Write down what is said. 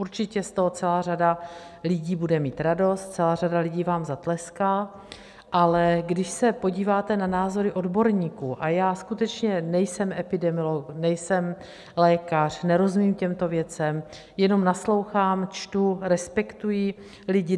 Určitě z toho celá řada lidí bude mít radost, celá řada lidí vám zatleská, ale když se podíváte na názory odborníků, a já skutečně nejsem epidemiolog, nejsem lékař, nerozumím těmto věcem, jenom naslouchám, čtu, respektuji lidi.